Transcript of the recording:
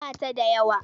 Ba ta da yawa.